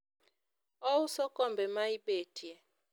ouso kombe ma ibetie